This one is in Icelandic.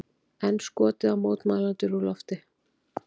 Enn skotið á mótmælendur úr lofti